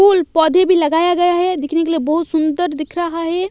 फूल पौधे भी लगाया गया है दिखने के लिए बहुत सुंदर दिख रहा है।